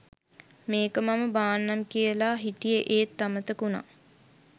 මේක මම බාන්නම් කියලා හිටියේ ඒත් අමතක වුනා.